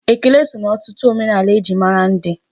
Ekele so na ọtụtụ omenaala e ji mara ndị.